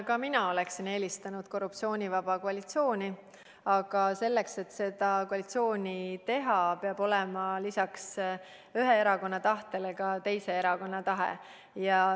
Ka mina oleksin eelistanud korruptsioonivaba koalitsiooni, aga selleks, et seda koalitsiooni teha, peab olema lisaks ühe erakonna tahtele ka teise erakonna tahe.